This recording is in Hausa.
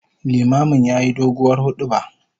Limamin yayi doguwar huduba